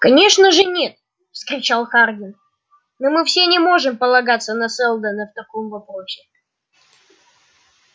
конечно же нет вскричал хардин но мы не можем полагаться на сэлдона в таком вопросе